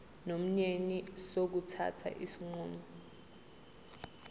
nomyeni sokuthatha isinqumo